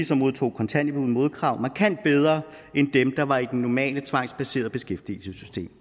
som modtog kontanthjælp uden modkrav markant bedre end dem der var i det normale tvangsbaserede beskæftigelsessystem